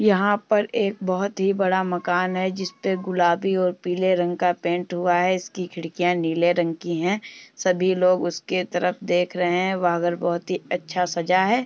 यहां पर एक बोहोत ही बड़ा मकान है जिस पे गुलाबी और पीले रंग का पेंट हुआ है। इसकी खिड़कियां नीले रंग की हैं। सभी लोग उसके तरफ देख रहे हैं। वह घर बहोत ही अच्छा सजा है।